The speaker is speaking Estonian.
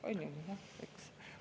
On ju nii, eks?